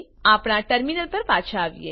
આપણા ટર્મીનલ પર પાછા આવીએ